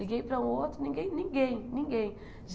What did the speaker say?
Liguei para um outro, ninguém, ninguém, ninguém.